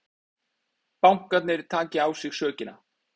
Bankarnir taki á sig sökina